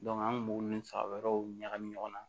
an kun b'u ni faga wɛrɛw ɲagamin ɲɔgɔn na